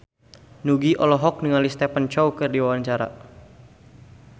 Nugie olohok ningali Stephen Chow keur diwawancara